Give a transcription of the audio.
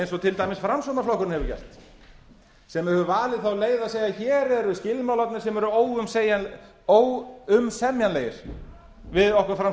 eins og til dæmis framsóknarflokkurinn hefur gert sem hefur valið þá leið að segja hér eru skilmálarnir sem eru óumsemjanlegir við okkur